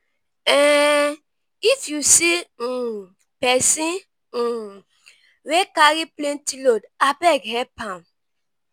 um if you see um pesin um wey carry plenty load abeg help am.